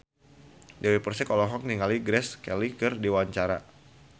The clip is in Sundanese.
Dewi Persik olohok ningali Grace Kelly keur diwawancara